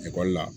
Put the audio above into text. Ekɔli la